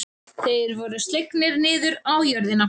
Þeir voru slegnir niður á jörðina.